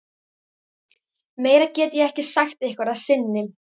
Meira get ég ekki sagt ykkur að sinni.